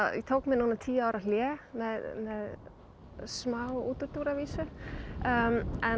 ég tók mér núna tíu ára hlé með smá útúrdúr að vísu en